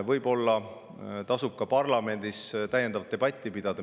Võib-olla tasub ka parlamendis täiendavat debatti pidada.